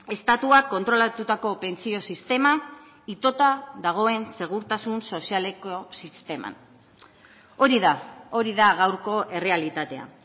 estatuak kontrolatutako pentsio sistema itota dagoen segurtasun sozialeko sisteman hori da hori da gaurko errealitatea